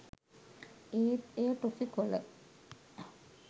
ඒත් එය ටොෆි කොල